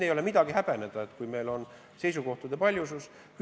Ei ole midagi häbeneda, kui meil on seisukohtade paljusus.